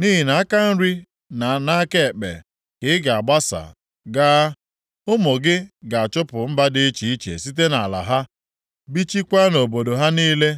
Nʼihi na nʼaka nri na nʼaka ekpe ka ị ga-agbasa gaa; ụmụ gị ga-achụpụ mba dị iche iche site nʼala ha, bichikwaa nʼobodo ha niile